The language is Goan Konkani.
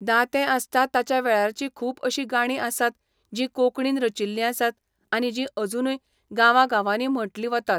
दातें आसता ताच्या वेळारचीं खूब अशीं गाणीं आसात जीं कोंकणीन रचिल्ली आसात आनी जीं अजुनूय गांवा गांवांनी म्हणटली वतात.